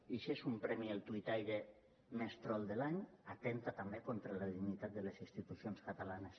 i si és un premi al tuitaire més trol de l’any atempta també contra la dignitat de les institucions catalanes